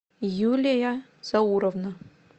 юлия зауровна